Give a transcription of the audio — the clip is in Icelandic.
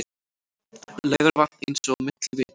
Laugarvatn eins og milli vita.